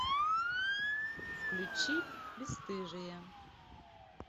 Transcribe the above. включи бесстыжие